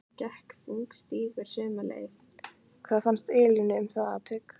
Hvað fannst Elínu um það atvik?